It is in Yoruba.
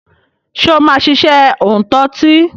Ṣé o máa ṣiṣẹ́ òǹtọtí?